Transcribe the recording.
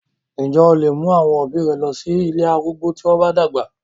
Ǹ jẹ́ o lè mú àwọn òbí rẹ lọ sí ilé arúgbó tí wọ́n bá dàgbà?